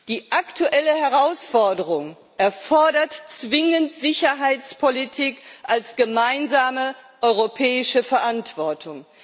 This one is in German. Die aktuelle Herausforderung erfordert zwingend Sicherheitspolitik als gemeinsame europäische Verantwortung.